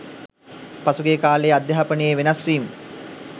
පසුගිය කාල‍යේ අධ්‍යාපනයේ වෙනස්වීම්